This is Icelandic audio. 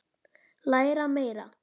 Læra meira.